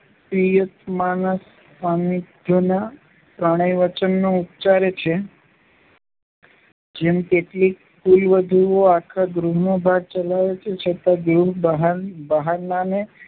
પ્રિયતમાના સાંનિધ્યમાં પ્રણયવચનો ઉચ્ચારે છે. જેમ કેટલીક કુલવધૂઓ આખા ગૃહનો ભાર ચલાવે છે છતાં ગૃહ બહાર બહારનાંને